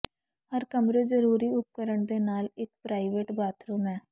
ਹਰ ਕਮਰੇ ਜ਼ਰੂਰੀ ਉਪਕਰਣ ਦੇ ਨਾਲ ਇੱਕ ਪ੍ਰਾਈਵੇਟ ਬਾਥਰੂਮ ਹੈ